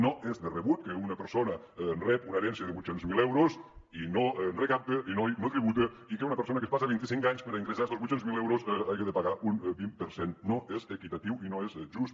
no és de rebut que una persona rebi una herència de vuit cents miler euros i no recapti i no tributi i que una persona que es passa vint i cinc anys per a ingressar estos vuit cents miler euros hagi de pagar un vint per cent no és equitatiu i no és just